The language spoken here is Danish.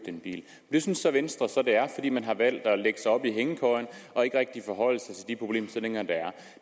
en bil det synes venstre så at det er fordi man har valgt at lægge sig op i hængekøjen og ikke rigtig forholde sig til de problemstillinger der